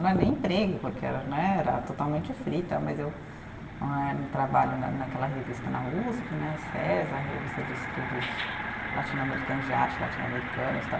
Não é nem emprego, porque era né, era totalmente frita, mas eu né, no trabalho na naquela revista na Uspe né, César, revista de estudos latino-americanos, de arte latino-americanas tal.